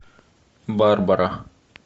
барбара